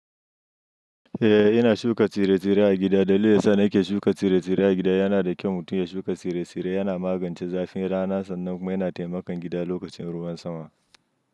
Eh, ina shuka tsire-tsire a gida. Dalilin sa ni ke shuka tsire-tsire a gida yana da kyau. Mutum ya shuka tsire-tsire yana magance zafin rana sannan kuma yana taimakon gida lokacin ruwan sama.